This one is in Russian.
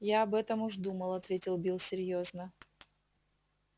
я об этом уж думал ответил билл серьёзно